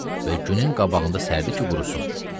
Və günün qabağında sərdi ki, qurrusun.